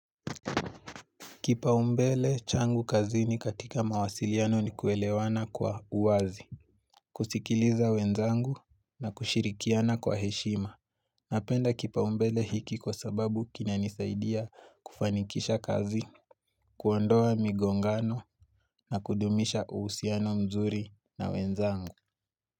Kipaumbele changu kazini katika mawasiliano ni kuelewana kwa uwazi, kusikiliza wenzangu na kushirikiana kwa heshima. Napenda kipaumbele hiki kwa sababu kina nisaidia kufanikisha kazi, kuondoa migongano na kudumisha uhusiano mzuri na wenzangu.